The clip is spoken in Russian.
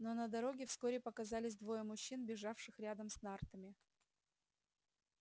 но на дороге вскоре показались двое мужчин бежавших рядом с нартами